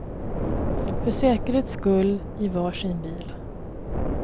För säkerhets skull i var sin bil.